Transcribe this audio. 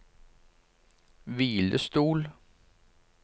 hvilestol